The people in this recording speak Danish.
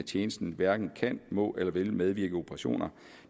tjenesten hverken kan må eller vil medvirke i operationer